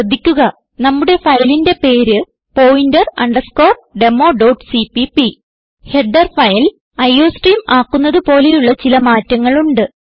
ശ്രദ്ധിക്കുക നമ്മുടെ ഫയലിന്റെ പേര് പോയിന്റർ അണ്ടർസ്കോർ demoസിപിപി ഹെഡർ ഫയൽ അയോസ്ട്രീം ആക്കുന്നത് പോലെയുള്ള ചില മാറ്റങ്ങൾ ഉണ്ട്